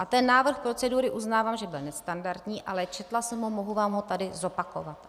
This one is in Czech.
A ten návrh procedury, uznávám, že byl nestandardní, ale četla jsem ho, mohu vám ho tady zopakovat.